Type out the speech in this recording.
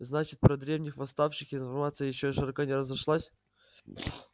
значит про древних восставших информация ещё широко не разошлась